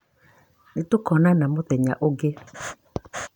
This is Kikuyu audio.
Nĩtũkoonana mũthenya ũngĩ